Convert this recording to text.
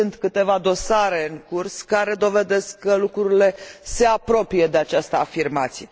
Sunt câteva dosare în curs care dovedesc că lucrurile se apropie de această afirmație.